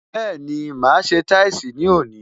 Bẹẹni, máa ṣe táìsì ní òní